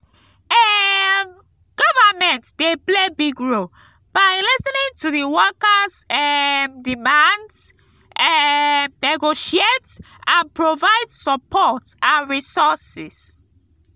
um government dey play big role by lis ten ing to di workers' um demands um negotiate and provide support and resources.